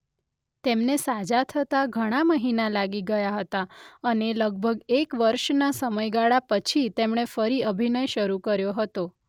તેમને સાજા થતા ઘણા મહિના લાગી ગયા હતા અને લગભગ એક વર્ષના સમયગાળા પછી તેમણે ફરી અભિનય શરૂ કર્યો હતો.